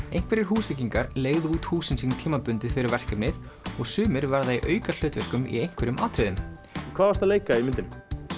einhverjir Húsvíkingar leigðu út húsin sín tímabundið fyrir verkefnið og sumir verða í aukahlutverkum í einhverjum atriðum hvað varstu að leika í myndinni